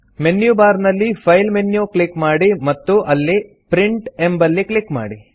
menu bar ನಲ್ಲಿ file menu click ಮಾಡಿ ಮತ್ತು ಅಲ್ಲಿ ಪ್ರಿಂಟ್ ಎಂಬಲ್ಲಿ ಕ್ಲಿಕ್ ಮಾಡಿ